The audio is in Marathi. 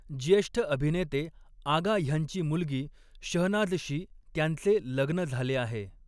ज्येष्ठ अभिनेते आगा ह्यांची मुलगी शहनाजशी त्यांचे लग्न झाले आहे.